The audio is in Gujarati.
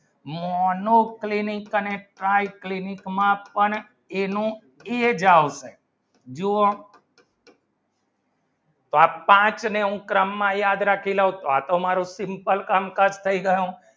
monoclinic માં અને triclinic માં એ જાવશે જો અપાત્ર મેં ક્રમ માં યાદ રાખીને તો તે તો મારી simple કામ કઈ જાણો